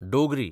Dogri